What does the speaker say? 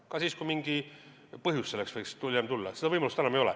Ka siis, kui mingi põhjus selleks võiks hiljem tekkida, seda võimalust enam ei ole.